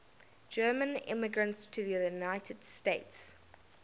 german immigrants to the united states